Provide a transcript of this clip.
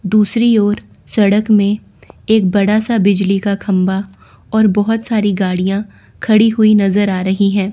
दूसरी ओर सड़क में एक बड़ा सा बिजली का खंभा और बहुत सारी गाड़ियां खड़ी हुई नजर आ रही हैं।